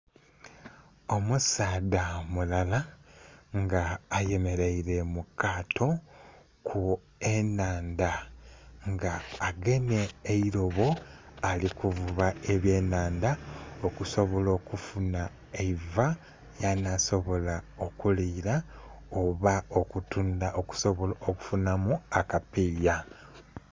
Omusaadha mulala nga ayemerere mukato ku enhandha nga agemye eirobo alikuvuba ebyenhandha okusobolo okufunha eiva lyanha sobola okulira oba okutundha okusobolo okufunha akapiya